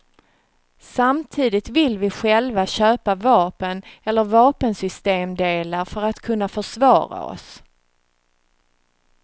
Samtidigt vill vi själva köpa vapen eller vapensystemdelar för att kunna försvara oss.